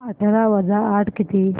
अठरा वजा आठ किती